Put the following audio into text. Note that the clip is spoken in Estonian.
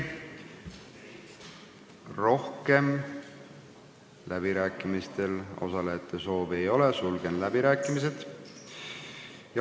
Rohkem läbirääkimistel osalemise soovi ei ole, sulgen läbirääkimised.